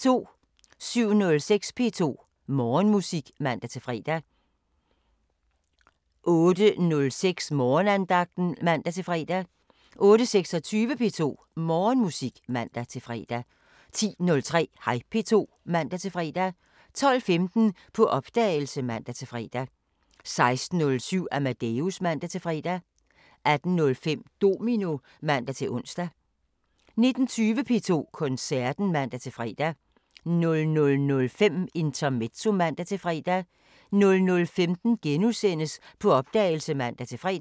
07:06: P2 Morgenmusik (man-fre) 08:06: Morgenandagten (man-fre) 08:26: P2 Morgenmusik (man-fre) 10:03: Hej P2 (man-fre) 12:15: På opdagelse (man-fre) 16:07: Amadeus (man-fre) 18:05: Domino (man-ons) 19:20: P2 Koncerten (man-fre) 00:05: Intermezzo (man-fre) 00:15: På opdagelse *(man-fre)